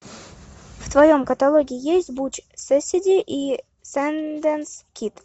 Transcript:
в твоем каталоге есть буч кэссиди и сандэнс кид